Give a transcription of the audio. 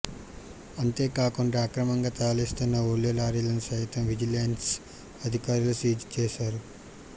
అంతేకాకుండా అక్రమంగా తరలిస్తున్న ఉల్లి లారీలను సైతం విజిలెన్స్ అధికారులు సీజ్ చేశారు